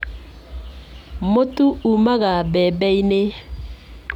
Mũtu umaga mbembe-inĩ.